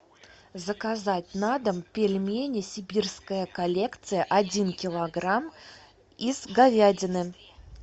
заказать на дом пельмени сибирская коллекция один килограмм из говядины